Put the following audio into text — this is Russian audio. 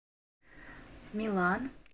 милан